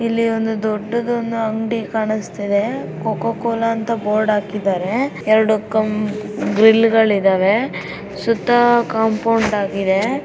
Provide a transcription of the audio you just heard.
ಇಲ್ಲಿ ಒಂದು ದೊಡ್ಡದು ಒಂದು ಅಂಗಡಿ ಕಾಣಸುತ್ತಾ ಇದೆ. ಕೋ ಕೋ ಕೋಲಾ ಅಂತ ಬೋರ್ಡ್ ಹಾಕಿದಾರೆ. ಎರೆಡು ಕಂ ಗ್ರಿಲ್ ಗಳು ಇದ್ದವೆ. ಸುತ್ತಾ ಕಾಮ್ಪೌಂಡ್ ಹಾಗಿದೆ.